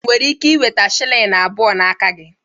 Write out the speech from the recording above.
Enwere m ike ị nweta shilling abụọ n'aka gị?